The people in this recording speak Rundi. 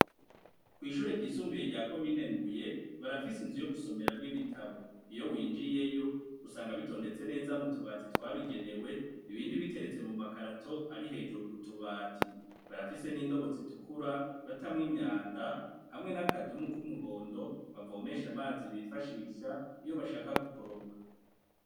Kw'ishure ryisumbuye rya komine Mbuye barafise inzu yo gusomeramwo ibitabo. Iyo winjiyeyo usanga bitondetse neza mu tubati twabigenewe, ibindi biteretse mu makarato ari hejuru ku tubati. Barafise n'indobo zitukura, batamwo imyanda hamwe naka dumu k'umuhondo bavomesha amazi bifashisha iyo bashaka gukoropa.